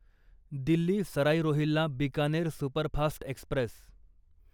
Delhi Sarai Rohilla Bikaner superfast Express